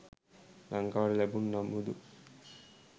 ලංකාවට ලැබුණු නමුදු